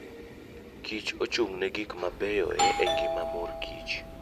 kich ochung'ne gik mabeyoe e ngima morkich.